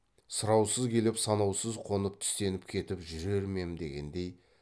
сұраусыз келіп санаусыз қонып түстеніп кетіп жүрер ме ем дегендей